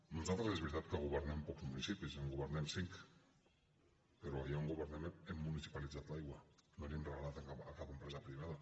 nosaltres és veritat que governem pocs municipis en governem cinc però allà on governem hem municipalitzat l’aigua no la hi hem regalat a cap empresa privada